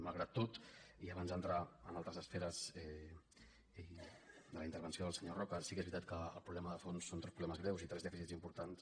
malgrat tot i abans d’entrar en altres esferes de la intervenció del senyor roca sí que és veritat que el problema de fons són tres problemes greus i tres dèficits importants